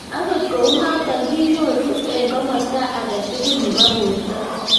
Angot kou noton , kinyoru en komosto agetugul nebo borto